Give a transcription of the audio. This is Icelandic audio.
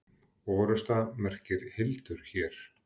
Orrusta merkir hildur hér.